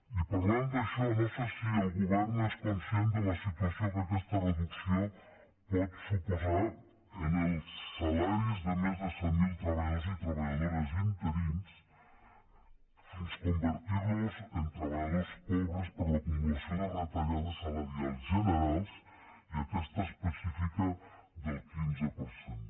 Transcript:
i parlant d’això no sé si el govern és conscient de la situació que aquesta reducció pot suposar en els salaris de més de cent mil treballadors i treballadores interins fins a convertir los en treballadors pobres per l’acumulació de retallades salarials generals i aquesta específica del quinze per cent